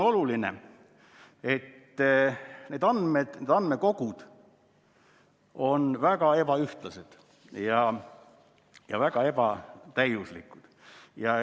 Oluline on, et need andmekogud on väga ebaühtlased ja väga ebatäiuslikud.